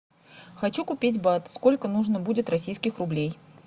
хочу купить бат сколько нужно будет российских рублей